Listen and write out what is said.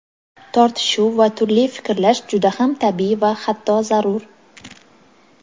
Tortishuv va turli fikrlash juda ham tabiiy va hatto zarur.